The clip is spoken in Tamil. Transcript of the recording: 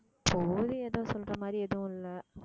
சொல்ற மாதிரி எதுவும் இல்லை